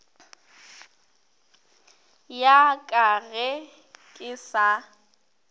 ya ka ge ke sa